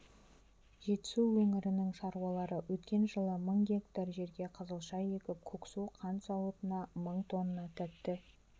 жетісу өңірінің шаруалары өткен жылы мың гектар жерге қызылша егіп көксу қант зауытына мың тонна тәтті